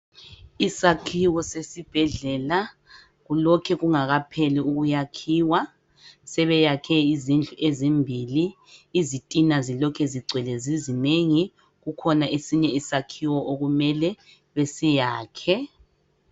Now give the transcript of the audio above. Isakhiwo sesibhedlela kulokhe kungakaphela ukwakhiwa sebeyakhe izindlu ezimbili izitina zilokhu zingwele zizinengi kukhona esinye isakhiwo okumele besiyakhe.